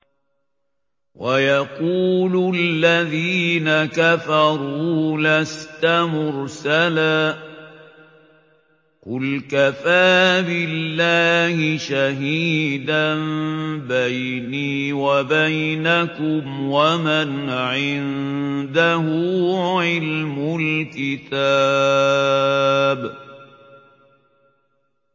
وَيَقُولُ الَّذِينَ كَفَرُوا لَسْتَ مُرْسَلًا ۚ قُلْ كَفَىٰ بِاللَّهِ شَهِيدًا بَيْنِي وَبَيْنَكُمْ وَمَنْ عِندَهُ عِلْمُ الْكِتَابِ